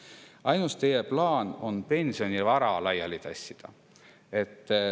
Teie ainus plaan on pensionivara laialitassimine.